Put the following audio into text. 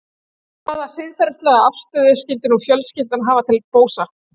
Hvaða siðferðilega afstöðu skyldi nú fjölskyldan hafa til Bósa?